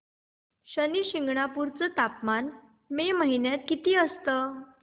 शनी शिंगणापूर चं तापमान मे महिन्यात किती असतं